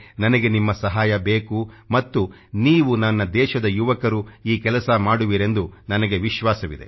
ನನಗೆ ನಿಮ್ಮ ಸಹಾಯ ಬೇಕು ಮತ್ತು ನೀವು ನನ್ನ ದೇಶದ ಯುವಕರು ಈ ಕೆಲಸ ಮಾಡುವಿರೆಂದು ನನಗೆ ವಿಶ್ವಾಸವಿದೆ